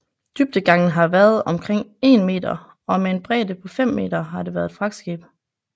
Dybdegangen har været omkring 1 meter og med en bredde på 5 m har det været et fragtskib